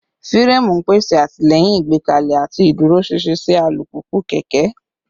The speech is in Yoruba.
Fireemu n pese atilẹyin igbekale ati iduroṣinṣin si alupupu / keke